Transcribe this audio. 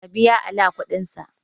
Ka biya Ala kudinsa!